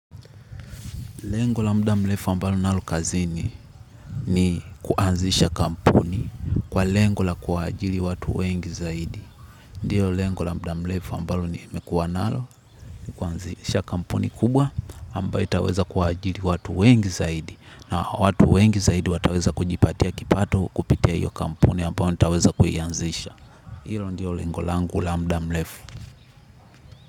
Lengo la muda mrefu ambalo nalo kazini ni kuanzisha kampuni kwa lengo la kuajiri watu wengi zaidi. Ndiyo lengo la muda mrefu ambalo ni mekuwa nalo ni kuanzisha kampuni kubwa ambayo itaweza kuajiri watu wengi zaidi. Na watu wengi zaidi wataweza kujipatia kipato kupitia iyo kampuni ambayo nitaweza kuianzisha. Hilo ndiyo lengo la muda mrefu.